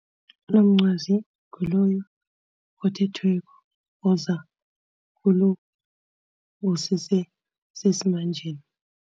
Unomncwazi nguloyo othethweko oza kulo osese sesimanjeni.